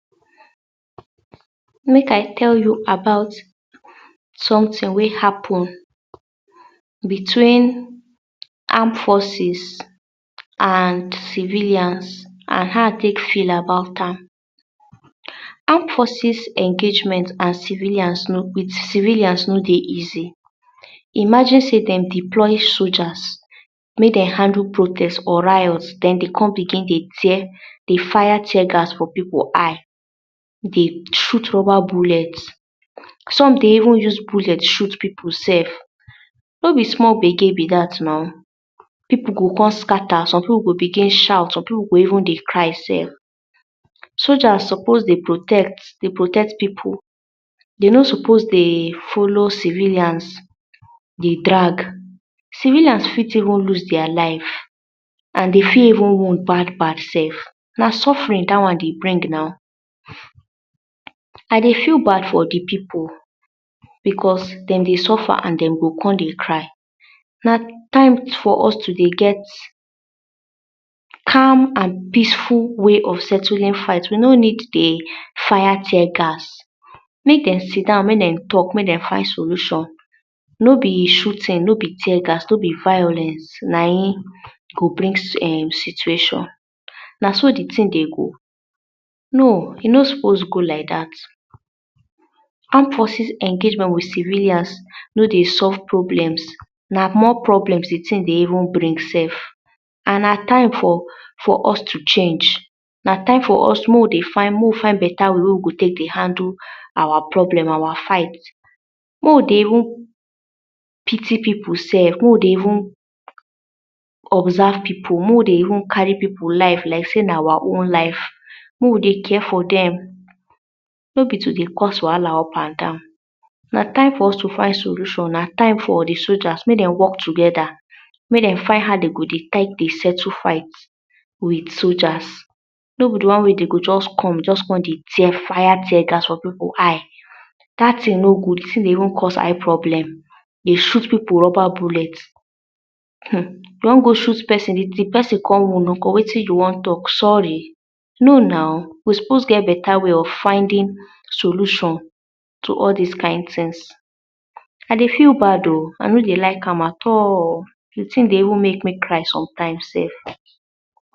Make I tell you about someting wey happen between armed forces and civilians and how I take feel about am, armed forces engagement and civilians no fit civilians no dey easy imagine sey dem deploy soldiers make dem handle protest or riots den dey come begin dey tear dey fire tear gas for pipu eye dey shoot shower bullet some dey even use bullet shoot pipu sef no be small gbege be dat naw. pipu go come scatter pipu go dey shout some pipu go even dey cry sef soldier suppose dey protect pipu dey no suppose dey follow civilians dey drag civilians fit even loose dia life and dey fit even wound bad bad sef. na suffering dat one dey bring now. I dey feel bad for de pipu because dem dey suffer and dem go come dey cry. na time for us to dey get calm and peaceful way of settling fight. we no need dey fire tear gas. if dem sit-down make dem talk make dem find solution no be shooting no be tear gas no be vawulence na him go bring um situation. na so de ting dey go no e no suppose go like dat. armed forces engagement with civilians no dey solve problems na more problems de ting dey even bring sef and na time for for us to change na time for us make we dey make we find beta way wey we go take dey handle our problems. our fight makes we dey even pity pipu sef dey make we dey even observe pipu make we dey even carry pipu life like sey na our own life. make we dey care for dem no be to dey cause wahala up and down. na time for us to find solution na time for de soldiers make dem work togeda make dem find how dem go dey take to settle fight with soldiers no be de one wey dem go just come just come dey fire tear gas for pipu eyes de ting no good e still dey even cause eye problem dey shot pipu rubber bullets um no go shoot person if de person con wound nko wetin you go do you want talk sorry know nau you suppose get better way to finding solutions to all this kind tings I dey feel bad o I no dey even like am at all the thing dey make me cry sometimes sef